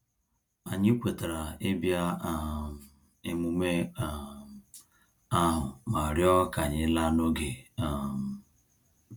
Anyị kwetara ibia um emume um ahu ma rịọ ka anyị laa n'oge um